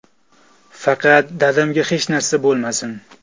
Faqat dadamga hech narsa bo‘lmasin.